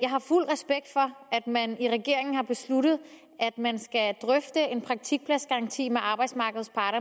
man i regeringen har besluttet at man skal drøfte en praktikpladsgaranti med arbejdsmarkedets parter